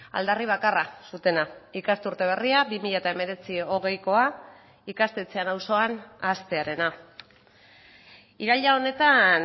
aldarri bakarra zutena ikasturte berria bi mila hemeretzi hogeikoa ikastetxean auzoan hastearena iraila honetan